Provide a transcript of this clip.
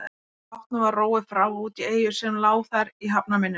Bátnum var róið frá og út í eyju sem lá þar í hafnarmynninu.